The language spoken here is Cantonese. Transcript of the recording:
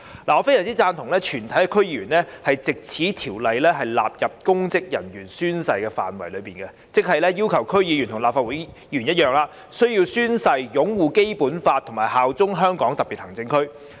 我非常贊同藉這項《條例草案》，把全體區議員納入公職人員宣誓的範圍內，即要求區議員與立法會議員一樣，須宣誓擁護《基本法》、效忠香港特別行政區。